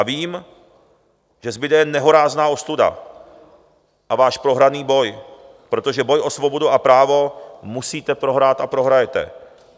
A vím, že zbude jen nehorázná ostuda a váš prohraný boj, protože boj o svobodu a právo musíte prohrát a prohrajete.